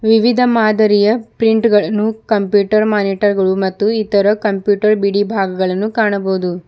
ವಿವಿಧ ಮಾದರಿಯ ಪ್ರಿಂಟ್ ಗಳನು ಕಂಪ್ಯೂಟರ್ ಮಾನಿಟರ್ ಗಳು ಮತ್ತು ಇತರ ಕಂಪ್ಯೂಟರ್ ಬಿಡಿಭಾಗಗಳನ್ನು ಕಾಣಬಹುದು.